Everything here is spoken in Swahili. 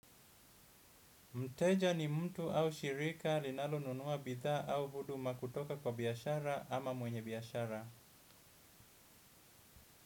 Mteja ni mtu au shirika linalonunua bidha au huduma kutoka kwa biashara ama mwenye biashara.